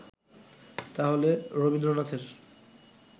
তাহলে রবীন্দ্রনাথের